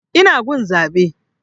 Ina gun zaɓe